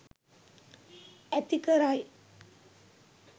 ඇති කරයි.